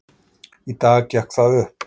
Í dag gekk það upp.